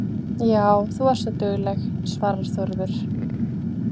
Já, þú ert dugleg, svarar Þórður.